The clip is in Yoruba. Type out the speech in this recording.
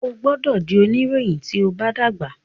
o gbódò dì onirohin tíó bá dàgbà!